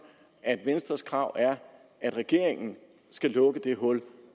at venstres krav er at regeringen skal lukke det hul